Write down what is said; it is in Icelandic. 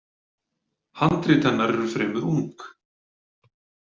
Handrit hennar eru fremur ung.